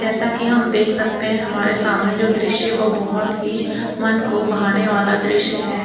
जैसा कि हम देख सकते है हमारे सामने जो दृश्य वो बहोत ही मन को भाने वाला दृश्य है।